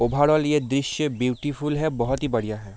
Overall ये दृश्य beautiful है बहोत ही बढ़िया है ।